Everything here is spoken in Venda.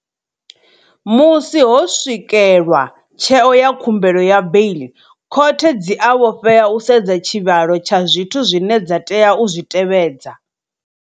Musi ho swikelwa tsheo ya khumbelo ya beiḽi, khothe dzi a vhofhea u sedza tshivhalo tsha zwithu zwine dza tea u zwi tevhedza.